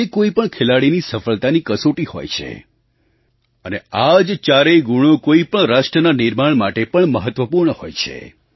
તે કોઈ પણ ખેલાડીની સફળતાની કસોટી હોય છે અને આ જ ચારેય ગુણો કોઈપણ રાષ્ટ્રના નિર્માણ માટે પણ મહત્ત્વપૂર્ણ હોય છે